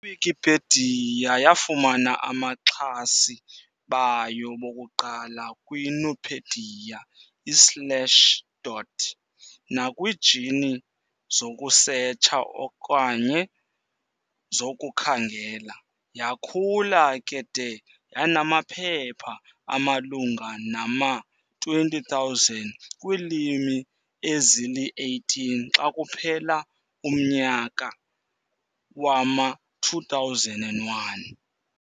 I-Wikipedia yafumana amaxhasi bayo bokuqala kwiNupedia, i-Slashdot, nakwiijini zokusetsha okanye zokukhangela. Yaakhula ke de yanamaphepha amalunga nama-20, 000, kwiilimi ezili-18 xa kuphela umnyaka wama-2001.